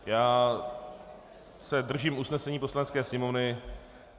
Já se držím usnesení Poslanecké sněmovny.